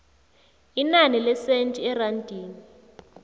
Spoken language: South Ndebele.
inani lesenthi erandini